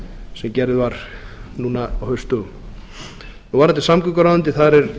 sem gerð var núna á haustdögum varðandi samgönguráðuneytið þar er